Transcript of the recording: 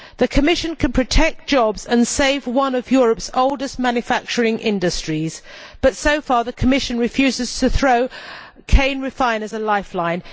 The Commission can protect jobs and save one of Europe's oldest manufacturing industries, but so far the Commission has refused to throw cane refiners a lifeline.